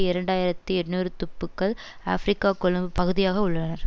இரண்டு ஆயிரத்தி எண்ணூறு துப்புக்கள் ஆபிரிக்க கொம்பு பகுதியாக உள்ளனர்